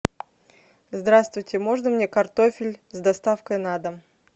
здравствуйте можно мне картофель с доставкой на дом